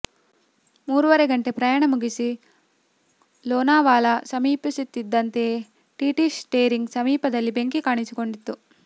ಮೂರುವರೆ ಗಂಟೆ ಪ್ರಯಾಣ ಮುಗಿಸಿ ಲೋನಾವಾಲಾ ಸಮೀಪಿಸುತ್ತಿದ್ದಂತೆಯೇ ಟಿಟಿ ಸ್ಟೇರಿಂಗ್ ಸಮೀಪದಲ್ಲಿ ಬೆಂಕಿ ಕಾಣಿಸಿಕೊಂಡಿತ್ತು